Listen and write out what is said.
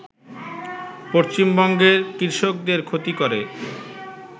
পশ্চিমবঙ্গের কৃষকদের ক্ষতি করে